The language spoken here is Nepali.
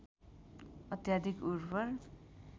अत्याधिक उर्वर